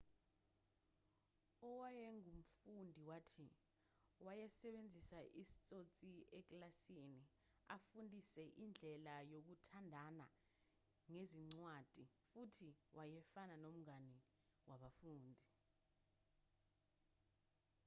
owayengumfundi wathi wayesebenzisa isitsotsi ekilasini afundise indlela yokuthandana ngezincwadi futhi wayefana nomngane wabafundi'